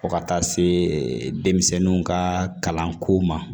Fo ka taa se denmisɛnninw ka kalanko ma